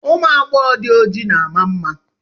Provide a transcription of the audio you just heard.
Ụmụ agbọghọ gbara ọchịchịrị mara mma.